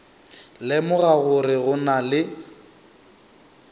lemoga gore go na le